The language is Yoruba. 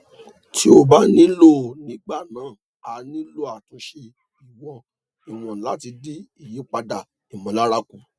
tí ó bá nílò nígbà náà a nílò àtúnṣe ìwọn ìwọn láti dín ìyípadà ìmọlára kù